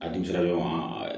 A dimi sera